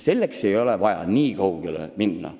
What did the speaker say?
Selleks ei ole vaja nii kaugele sõita.